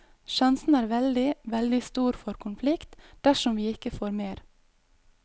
Sjansen er veldig, veldig stor for konflikt dersom vi ikke får mer.